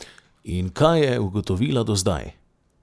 In kaj je ugotovila do zdaj?